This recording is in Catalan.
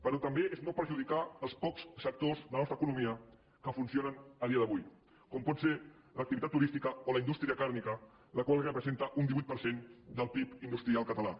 però també és no perjudicar els pocs sectors de la nostra economia que funcionen a dia d’avui com pot ser l’activitat turística o la indústria càrnia la qual representa un divuit per cent del pib industrial català